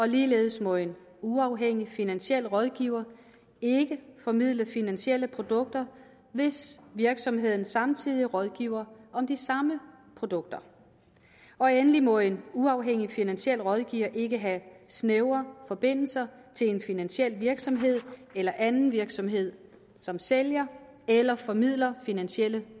ligeledes må en uafhængig finansiel rådgiver ikke formidle finansielle produkter hvis virksomheden samtidig rådgiver om de samme produkter og endelig må en uafhængig finansiel rådgiver ikke have snævre forbindelser til en finansiel virksomhed eller anden virksomhed som sælger eller formidler finansielle